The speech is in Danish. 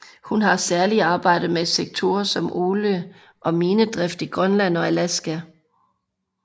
Hun har særligt arbejdet med sektorer som olie og minedrift i Grønland og Alaska